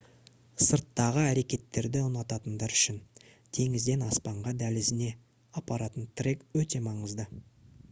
сырттағы әрекеттерді ұнататындар үшін «теңізден аспанға дәлізіне» апаратын трек өте маңызды